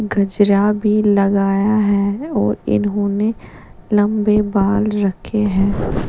गजरा भी लगाया है और इन्होने लम्बे बाल भी रक्खे हैं --